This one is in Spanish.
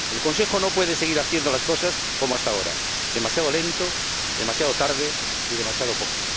El Consejo no puede seguir haciendo las cosas como hasta ahora demasiado lento, demasiado tarde y demasiado poco.